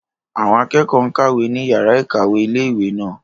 Àwọn akẹ́kọ̀ọ́ n kàwé ní yàrá-ìkàwé ilé-ìwé náà